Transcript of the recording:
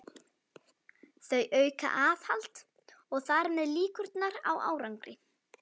Þau auka aðhald og þar með líkurnar á árangri.